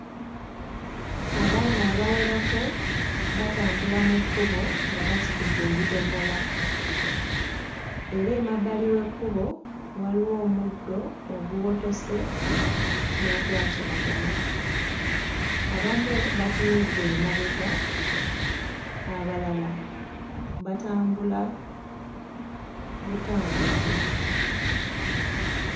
Abaana abawerako batambula mu kkubo nga basitudde ebidomola, era emabbali w'ekkubo waliwo omuddo oguwotose n'ogwa kiragala. Abamu batunudde emabega, abalala batambula butambuzi.